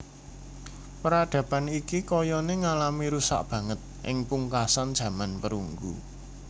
Peradaban iki kayané ngalami rusak banget ing pungkasan jaman perunggu